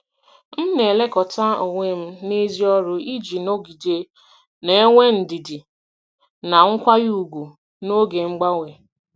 M na-elekọta onwe m n’èzí ọrụ iji nọgide na-enwe ndidi na nkwanye ùgwù n’oge mgbanwe.